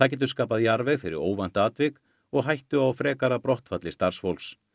getur skapað jarðveg fyrir óvænt atvik og hættu á frekara brottfalli starfsfólks